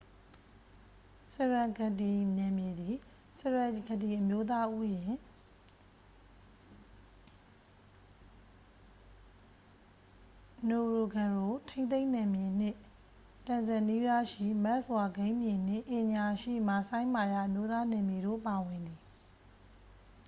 serengeti နယ်မြေသည် serengeti အမျိုးသားဥယျာဉ် ngorongoro ထိန်းသိမ်းနယ်မြေနှင့် တန်ဇန်နီးယားရှိ မတ်စ်ဝါ ဂိမ်းမြေနှင့် ကင်ညာရှိ မာဆိုင်းမာရာ အမျိုးသား နယ်မြေတို့ပါဝင်သည်